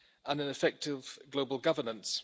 and an effective global governance.